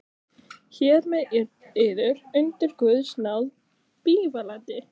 Hér með yður undir guðs náð bífalandi.